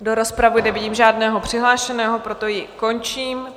Do rozpravy nevidím žádného přihlášeného, proto ji končím.